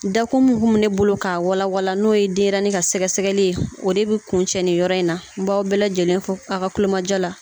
Dakun min kun bɛ ne bolo k'a walalawa n'o ye denɲɛrɛnin ka sɛgɛsɛgɛli ye o de bɛ kuncɛ nin yɔrɔ in na n b'aw bɛɛ lajɛlen fo a' ka kulomajɔ la